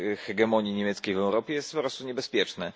hegemonii niemieckiej w Europie, jest po prostu niebezpieczne.